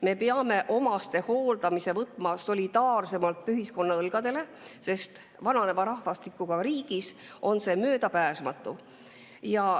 Teiseks, me peame omastehooldamise võtma solidaarsemalt ühiskonna õlgadele, sest vananeva rahvastikuga riigis on see möödapääsmatu.